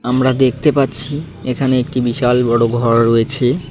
আমরা দেখতে পাচ্ছি এখানে একটি বিশাল বড় ঘর রয়েছে।